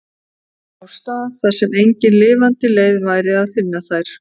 Á stað þar sem engin lifandi leið væri að finna þær.